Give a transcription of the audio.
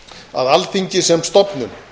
að alþingi sem stofnun